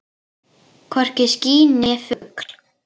Hvorki ský né fugl.